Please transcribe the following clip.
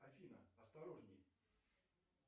афина осторожней